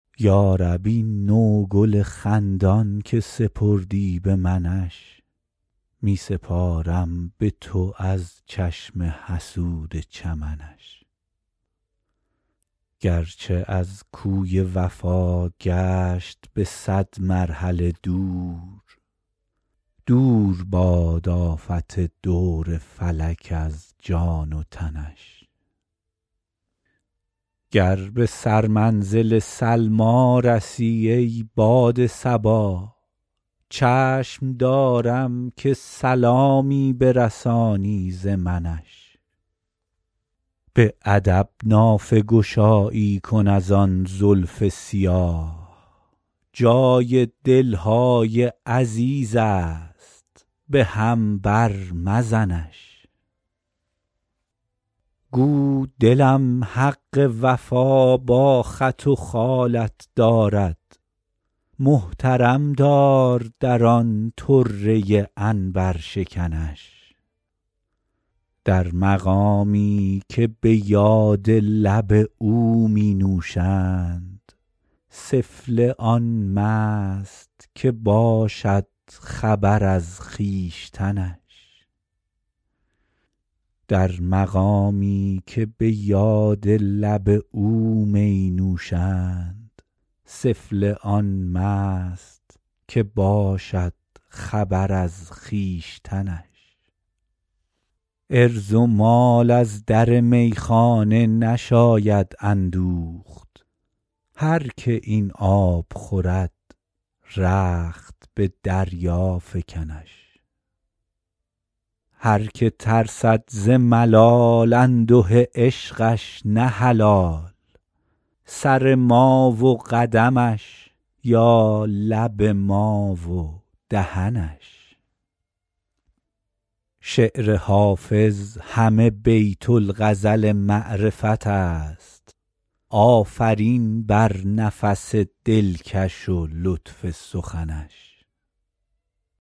یا رب این نوگل خندان که سپردی به منش می سپارم به تو از چشم حسود چمنش گرچه از کوی وفا گشت به صد مرحله دور دور باد آفت دور فلک از جان و تنش گر به سرمنزل سلمی رسی ای باد صبا چشم دارم که سلامی برسانی ز منش به ادب نافه گشایی کن از آن زلف سیاه جای دل های عزیز است به هم بر مزنش گو دلم حق وفا با خط و خالت دارد محترم دار در آن طره عنبرشکنش در مقامی که به یاد لب او می نوشند سفله آن مست که باشد خبر از خویشتنش عرض و مال از در میخانه نشاید اندوخت هر که این آب خورد رخت به دریا فکنش هر که ترسد ز ملال انده عشقش نه حلال سر ما و قدمش یا لب ما و دهنش شعر حافظ همه بیت الغزل معرفت است آفرین بر نفس دلکش و لطف سخنش